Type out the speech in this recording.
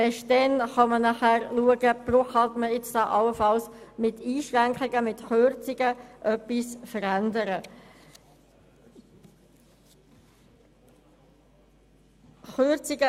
Erst dann kann man schauen, ob allenfalls mit Einschränkungen und Kürzungen etwas verändert werden kann.